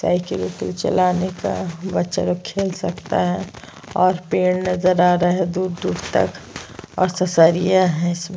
cycle उयिकिल चलाने का बच्चा लोग खेल सकता है और पेड़ नज़र आ रहा है दूर-दूर तक और ससरिया है इसमें--